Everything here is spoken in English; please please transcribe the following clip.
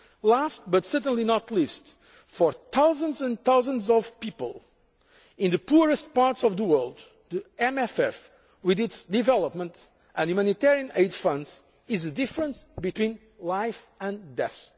policy. Last, but certainly not least, for thousands and thousands of people in the poorest parts of the world, the MFF, with its development and humanitarian aid funds, is the difference between life and